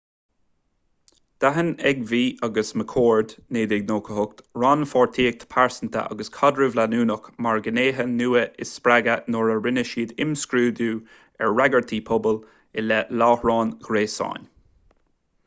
d'aithin eighmey agus mccord 1998 rannpháirtíocht phearsanta agus caidreamh leanúnach mar ghnéithe nua inspreagtha nuair a rinne siad imscrúdú ar fhreagairtí pobail i leith láithreáin ghréasáin